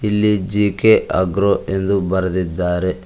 ಇಲ್ಲಿ G K agro ಎಂದು ಬರೆದಿದ್ದಾರೆ.